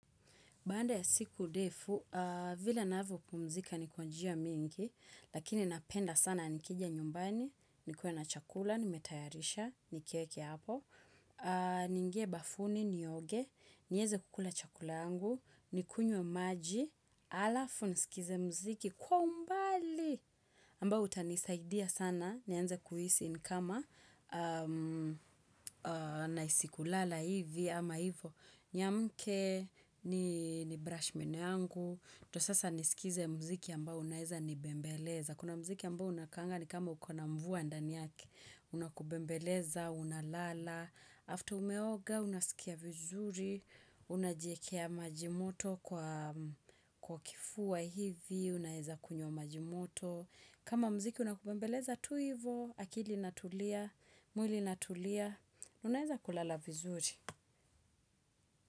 Baada ya siku ndefu, vile ninavyopumzika ni kwa njia mingi, lakini napenda sana nikija nyumbani, nikuwe na chakula, nimetayarisha, nikieke hapo. Niingie bafuni, nioge, niweze kukula chakula yangu, nikunywe maji, alafu nisikize mziki kwa umbali. Ambao utanisaidia sana, nianze kuhisi ni kama nahisi kulala hivi ama hivo. Niamke ni brush meno yangu, ndo sasa niskize mziki ambao unaeza ni bembeleza. Kuna mziki ambao unakaanga ni kama ukona mvua ndani yake, unakubembeleza, unalala. After umeoga, unasikia vizuri, unajikea majimoto kwa kifua hivi, unaweza kunywa majimoto. Kama mziki unakubembeleza tu hivo, akili inatulia, mwili inatulia, unaeza kulala vizuri.